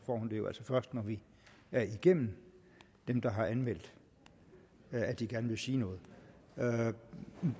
hun det jo altså først når vi er igennem dem der har anmeldt at de gerne vil sige noget så er